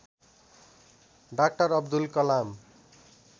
doctor Abdul Kalam